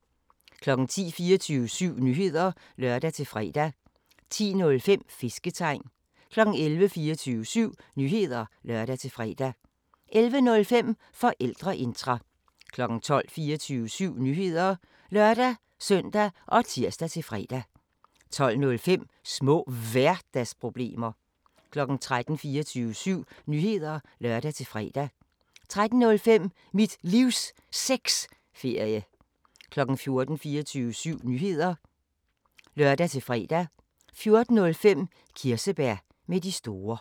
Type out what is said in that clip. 10:00: 24syv Nyheder (lør-fre) 10:05: Fisketegn 11:00: 24syv Nyheder (lør-fre) 11:05: Forældreintra 12:00: 24syv Nyheder (lør-søn og tir-fre) 12:05: Små Hverdagsproblemer 13:00: 24syv Nyheder (lør-fre) 13:05: Mit Livs Sexferie 14:00: 24syv Nyheder (lør-fre) 14:05: Kirsebær med de store